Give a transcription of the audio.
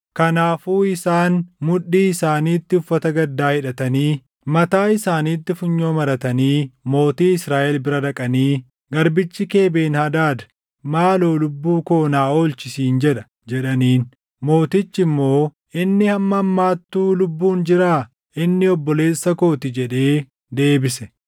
Kanaafuu isaan mudhii isaaniitti uffata gaddaa hidhatanii, mataa isaaniitti funyoo maratanii mootii Israaʼel bira dhaqanii, “Garbichi kee Ben-Hadaad, ‘Maaloo lubbuu koo naa oolchi’ siin jedha” jedhaniin. Mootichi immoo, “Inni hamma ammaattuu lubbuun jiraa? Inni obboleessa koo ti” jedhee deebise.